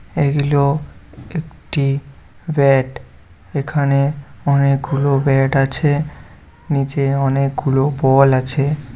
এগুলো একটি ব্যাট এখানে অনেকগুলো ব্যাট আছে নিচে অনেকগুলো বল আছে ।